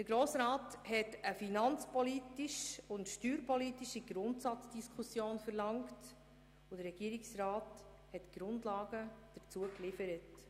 Der Grosse Rat hat eine finanzpolitische und steuerpolitische Grundsatzdiskussion verlangt und der Regierungsrat hat die Grundlagen dazu geliefert.